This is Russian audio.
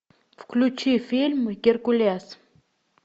включи фильм геркулес